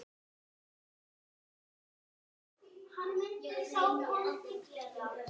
Kæra Hrefna.